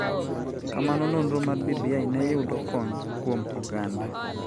kama nonro mar BBI ne yudo kony kuom oganda.